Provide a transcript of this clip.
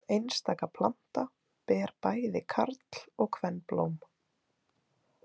Einstaka planta ber bæði karl- og kvenblóm.